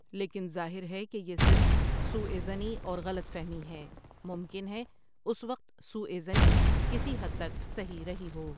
لیکن ظاہر ہے کہ یہ صرف سوء ظنی اور غلط فہمی ہے ممکن ہے اس وقت سوء ظنی کسی حد تک صحیح رہی ہو۔